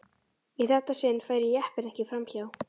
Í þetta sinn færi jeppinn ekki fram hjá.